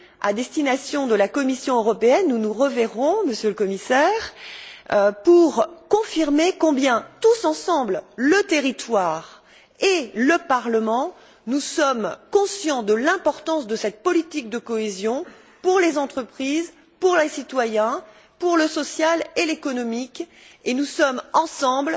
à destination de la Commission européenne nous nous reverrons, Monsieur le Commissaire pour confirmer combien, tous ensemble, le territoire et le Parlement, nous sommes conscients de l'importance de cette politique de cohésion pour les entreprises, pour les citoyens, pour le social et l'économique, et nous sommes ensemble